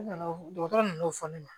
Ne nana dɔgɔtɔrɔ nan'o fɔ ne ma